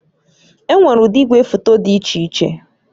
Enwere ụdị igwefoto dị iche iche